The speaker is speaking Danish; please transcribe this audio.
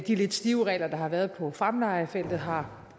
lidt stive regler der har været på fremlejefeltet har